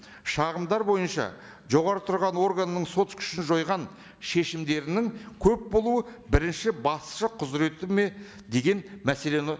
шағымдар бойынша жоғары тұрған органның сот күшін жойған шешімдерінің көп болуы бірінші басшы құзыреті ме деген мәселені